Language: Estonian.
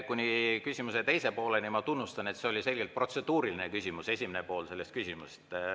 Kuni küsimuse teise pooleni, ma tunnustan teid, oli see küsimus selgelt protseduuriline.